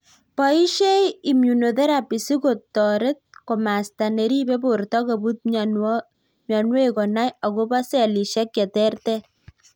Boishei immunotherapy sikotoret komasta neribe borto kobut mionwekkonai akobo selishek cheterter